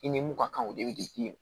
I ni mun ka kan o de bɛ